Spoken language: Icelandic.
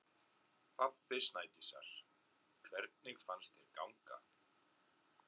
Pabbi Snædísar: Hvernig fannst þér ganga?